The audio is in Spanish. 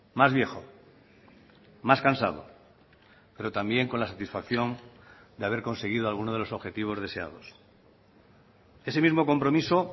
más viejo más cansado pero también con la satisfacción de haber conseguido alguno de los objetivos deseados ese mismo compromiso